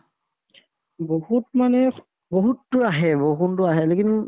বহুত মানে বহুতো আহে বৰষুণতো আহে lekin